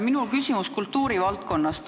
Minul on küsimus kultuuri valdkonnast.